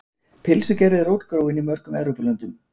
Pylsugerð er rótgróin í mörgum Evrópulöndum.